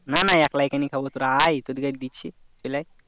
না না একলাই কেন খাবো তোরা আয় তোদের কে দিচ্ছি চলে আয়